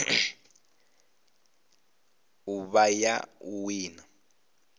u vha ya u wina